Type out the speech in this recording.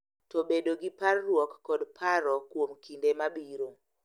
To bedo gi parruok kod paro kuom kinde mabiro.